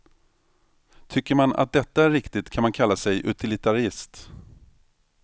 Tycker man att detta är riktigt kan man kalla sig utilitarist.